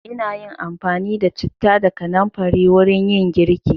Ina yin amfani da citta da kanamfari wurin yin girki.